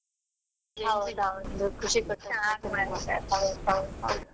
ಹೌದೌದು .